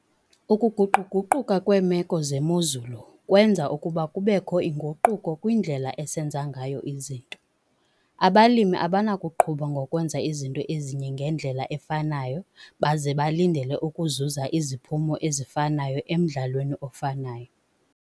Ukuguqu-guquka kweemeko zemozulu kwenza ukuba kubekho inguquko kwindlela esenza nganyo izinto. Abalimi abanakuqhuba ngokwenza izinto ezinye ngendlela efanayo baze balindele ukuzuza iziphumo ezifanayo emdlalweni ofanayo.